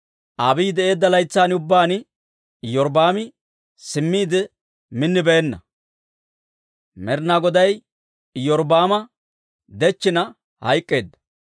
Abiiyi de'eedda laytsan ubbaan Iyorbbaami simmiide minnibeenna. Med'inaa Goday Iyorbbaama dechchina hayk'k'eedda.